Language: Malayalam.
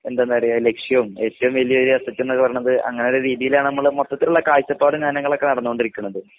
എന്തെന്നറിയോ ലക്ഷ്യം ഏറ്റവും വലിയൊരു അസറ്റ് ന്നൊക്കെ പറയുന്നത് അങ്ങനെയൊരു രീതിയിലാണ് നമ്മള് മൊത്തത്തിലുള്ള കാഴ്ചപ്പാടിലാണ് ഞങ്ങളൊക്കെ നടന്നോണ്ടിരിക്കുന്നത്